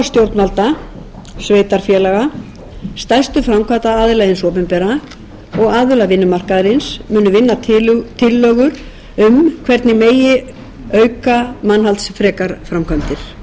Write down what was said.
stjórnvalda sveitarfélaga stærstu framkvæmdaraðila hins opinbera og aðila vinnumarkaðarins munu vinna tillögur um hvernig megi auka mannhaldsfrekar framkvæmdir ég nefni einnig áform